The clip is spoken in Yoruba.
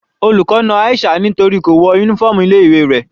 Olùkọ́ na Aisha nítorí kò wọ uniform ilé ìwé rẹ̀.